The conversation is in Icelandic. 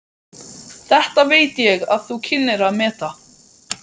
Þetta veit ég þú kynnir að meta.